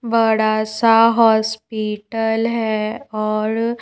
बड़ा सा हॉस्पिटल है और--